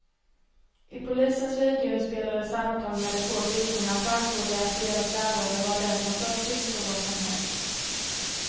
I polisens videoinspelade samtal med de två flickorna framgår det att deras lärare var den som först insåg vad som hänt.